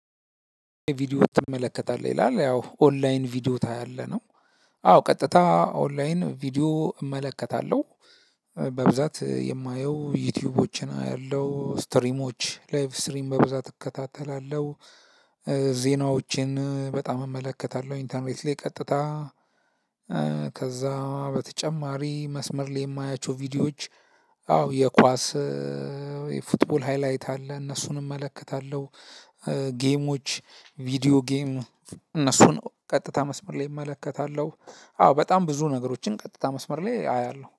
ቪዲዮ ትመለከታለህ ይላል ያው ኦንላይን ቪዲዮ ታያለህ ነው። አዎ ቀጥታ ኦንላይን ቪዲዮ እመለከታለሁ። በብዛት የማየው ዩቲዩቦችን አያለው ስትሪሞች ላይቭ ስትሪም በብዛት እከታተላለሁ። ዜናዎችን በጣም እመለከታለሁ ኢንተርኔት ላይ ቀጥታ። ከዛ በተጨማሪ መስመር ላይ የማያቸው ቪዲዮዎች። አዎ የኳስ የፉትቦል ሃይላይት አለ እነሱንም እመለከታለሁ። ጌሞች ቪዲዮ ጌም እነሱን ቀጥታ መስመር ላይ እመለከታለሁ። አወ በጣም ብዙ ነገሮችን ቀጥታ መስመር ላይ አያለሁ